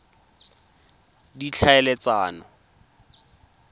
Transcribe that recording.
ditlhaeletsano